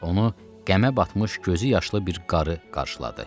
Onu qəmə batmış, gözü yaşlı bir qarı qarşıladı.